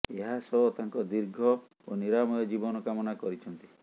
ଏହାସହ ତାଙ୍କ ଦୀର୍ଘ ଓ ନିରାମୟ ଜୀବନ କାମନା କରିଛନ୍ତି